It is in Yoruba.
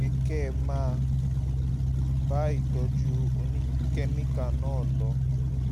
kẹ́ ẹ máa bá ìtọ́jú oníkẹ́míkà náà lọ